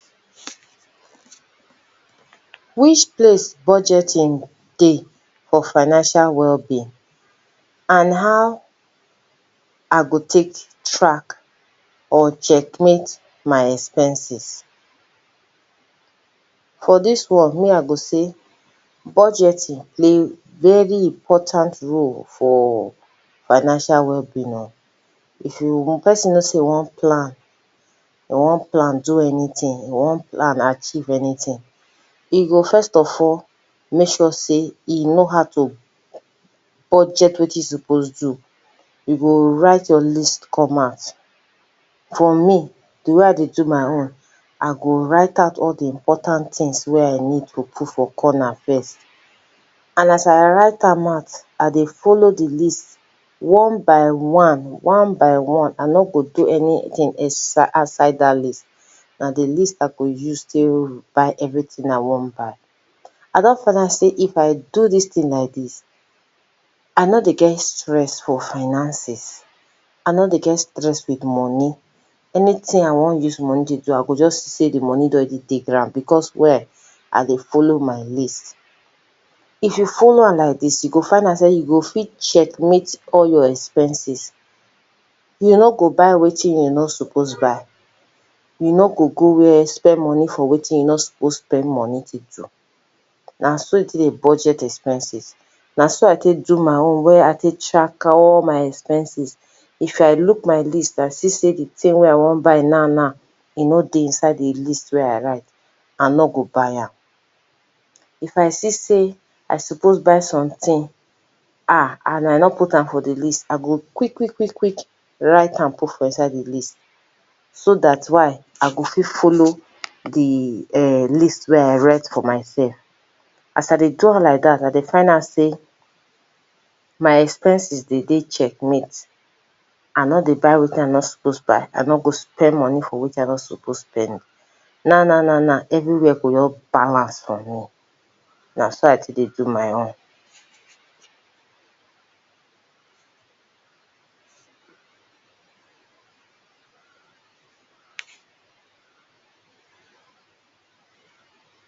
Which place budgeting dey for financial wellbeing? And how I go take track or checkmate my expenses? For dis one, me I go say budgeting play very important role for financial wellbeing o! If you pesin know say e wan plan, e wan plan do anything, e wan plan achieve anything, e go first of all make sure sey e know how to budget wetin e suppose do. You go write your list come out. For me, the way I dey do my own, I go write out all de important things wey I need to put for corner first. And as I write am out, I dey follow de list one by one-one by one, I no go do anything else aside dat list. Na de list I go use take buy everything I wan buy. I don find out sey if I do dis thing like dis, I no dey get stress for finances. I no dey get stress with money. Anything I wan use money dey do, I go just see sey de money don already dey ground, because why? I dey follow my list. If you follow am like dis, you go find out sey you go fit checkmate all your expenses. You no go buy wetin you no suppose buy. You no go go where spend money for wetin you no suppose spend money take do. Na so you take dey budget expenses. Na so I take do my own wey I take track all my expenses. If I look my list I see sey the thing wey I wan buy now na e no dey inside de list wey I write, I no go buy am. If I see sey I suppose buy something, um, and I no put am for the list, I go quick-quick quick-quick write am put for inside the list. So dat why? I go fit follow de um list wey I write for myself. As I dey do am like dat, I dey find out sey my expenses dey dey checkmate. I no dey buy wetin I no suppose buy, I no go spend money for wetin I no suppose spend. Naw naw-naw naw, everywhere go just balance for me. Na so I take dey do my own.